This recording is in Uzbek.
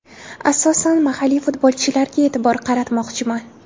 Asosan mahalliy futbolchilarga e’tibor qaratmoqchiman.